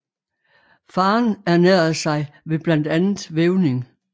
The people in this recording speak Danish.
Faderen ernærede sig ved blandt andet vævning